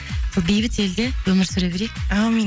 сол бейбіт елде өмір сүре берейік әумин